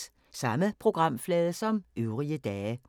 Samme programflade som øvrige dage